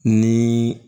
Ni